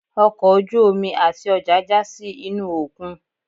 ọkọ ojú-omi atí ọja ja sí inú okún